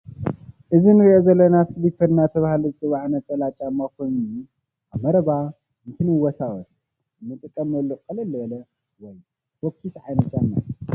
እዚ ንሪኦ ዘለና ስሊፐር እናተባህለ ዝፅዋዕ ነፀላ ጫማ ኮይኑ ኣብ መረባ እንትንወሳወስ እንጥቀመሉ ቅልል ዝበለ ወይ ፎኪስ ዓይነት ጫማ እዩ፡፡